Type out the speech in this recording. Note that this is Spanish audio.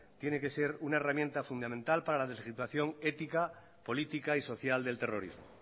tiene que ser una herramienta fundamental para la deslegitimación ética política y social del terrorismo